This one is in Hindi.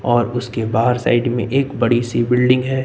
और उसके बाहर साइड में एक बड़ी सी बिल्डिंग है।